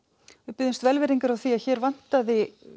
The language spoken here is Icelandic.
biðjumst velvirðingar að hér vantaði